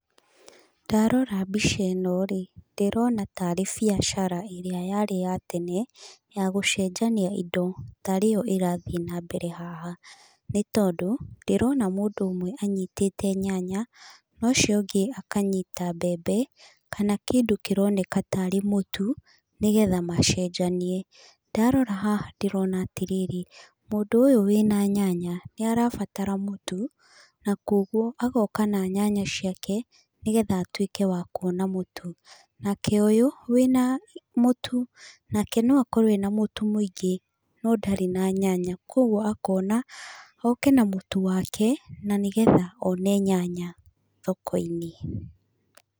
Ndarora mbica ĩnoĩ, ndĩrona tari biacara ĩria yarĩ ya tene ya gũcenjania indo tarĩyo ĩrathiĩ na mbere haha, nĩ tondũ ndĩrona mũndũ ũmwe anyitĩte nyanya, na ũcio ũngĩ akanyita mbembe, kana kĩndũ kĩroneka tarĩ mũtu, nĩgetha macenjanie, ndarora haha ndĩrona atĩrĩrĩ, mũndũ ũyũ wĩna nyanya nĩ arabatara mũtu, na kwoguo agoka na nyanya ciake nĩgetha atuĩke wa kuona mũtu, nake ũyũ wĩna mũtu, nake no akoruo ena mũtu mwĩingĩ, no ndarĩ na nyanya, kwoguo akona oke na mũtu wake na nĩgetha one nyanya thoko - inĩ.